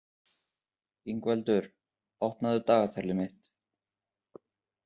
Ingveldur, opnaðu dagatalið mitt.